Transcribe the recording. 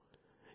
ഞാൻ ഡി